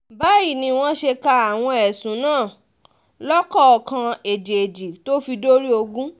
báyìí ni wọ́n ṣe ka àwọn ẹ̀sùn náà lọ́kọ̀ọ̀kan èjèèjì tó fi dórí ogun